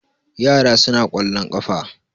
yara suna kwallon kafa